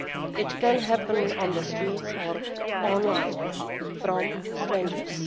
It can happen on the streets or online from strangers.